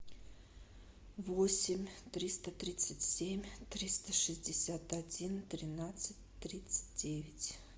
восемь триста тридцать семь триста шестьдесят один тринадцать тридцать девять